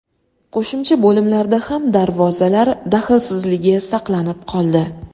Qo‘shimcha bo‘limlarda ham darvozalar daxlsizligi saqlanib qoldi.